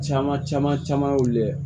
Caman caman caman y'o la